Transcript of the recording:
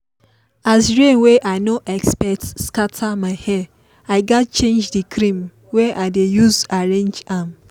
as rain wey i no expect scatter my hair i gaz change the cream wey i dey use arrange am